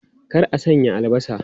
Kar a sanya albasa!